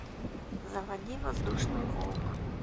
заводи воздушный волк